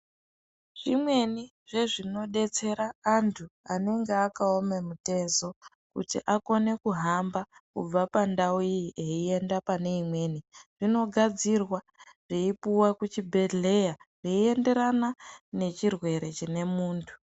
Zvimweni zvezvinodetsera anthu anenge akaoma mutezo, kuti akone kuhamba kubva pandau iyi eienda pane imweni, zvinogadzirwa zveipuwa kuchibhehlera zveienderana nechirwere chine munthu.